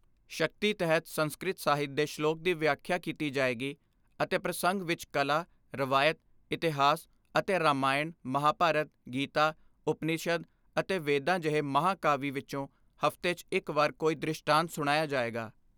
ਸ਼ਕਤੀ ਤਹਿਤ ਸੰਸਕ੍ਰਿਤ ਸਾਹਿਤ ਦੇ ਸ਼ਲੋਕ ਦੀ ਵਿਆਖਿਆ ਕੀਤੀ ਜਾਏਗੀ ਅਤੇ ਪ੍ਰਸੰਗ ਵਿਚ ਕਲਾ, ਰਵਾਇਤ, ਇਤਿਹਾਸ ਅਤੇ ਰਾਮਾਇਣ, ਮਹਾਂਭਾਰਤ, ਗੀਤਾ, ਉਪਨਿਸ਼ਦ ਅਤੇ ਵੇਦਾਂ ਜਿਹੇ ਮਹਾਂ ਕਾਵਿ ਵਿਚੋਂ ਹਫ਼ਤੇ 'ਚ ਇਕ ਵਾਰ ਕੋਈ ਦ੍ਰਿਸ਼ਟਾਂਤ ਸੁਣਾਇਆ ਜਾਏਗਾ।